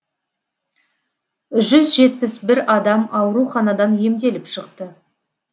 жүз жетпіс бір адам ауруханадан емделіп шықты